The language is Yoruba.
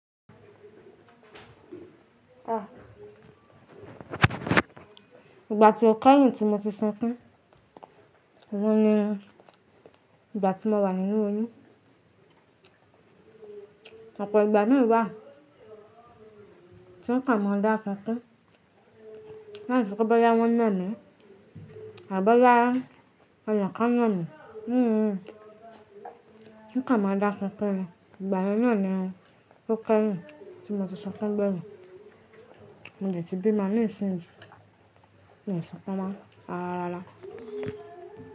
À, ìgbà tí ó kẹ́yìn tí mo ti sunkún, òun ni ìgbà tí mo wà nínú oyún. Òpọ̀ ìgbà míì wà, tí n kàn má dá sunkún. Láìsepé bóyá wón nà mí, àbí bóyá, èèyàn kán nà mí. Hmm hmm. N kàn má dá sunkún ni, ìgbà yen náà ni ó kẹ́yìn tí mo ti sọkún gbẹ̀yín. Mo dẹ̀ ti bímo nisìnyi, mi sunkún mo, rará rárá.